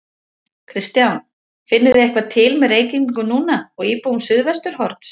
Kristján: Finnið þið eitthvað til með Reykvíkingum núna og íbúum Suðvesturhorns?